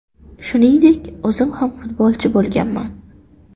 Shuningdek, o‘zim ham futbolchi bo‘lganman.